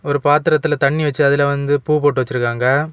ஒரு பாத்திரத்தில தண்ணீ வெச்சு அதில வந்து பூ போட்டு வச்சிருக்காங்க.